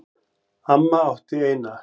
Amma átti eina.